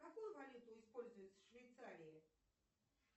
какую валюту используют в швейцарии